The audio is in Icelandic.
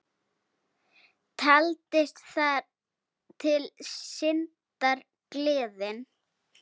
Taldist þar til syndar, gleðin.